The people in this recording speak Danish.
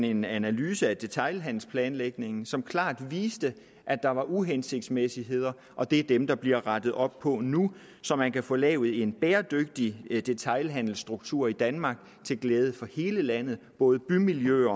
en analyse af detailhandelsplanlægningen som klart viste at der var uhensigtsmæssigheder og det er dem der bliver rettet op på nu så man kan få lavet en bæredygtig detailhandelsstruktur i danmark til glæde for hele landet både bymiljøerne